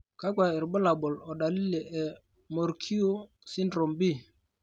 kakwa irbulabol odalili e Morquio syndrome B?